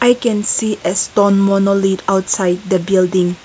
we can see a stone outside the building.